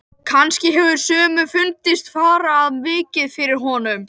Kannski hefur sumum fundist fara of mikið fyrir honum.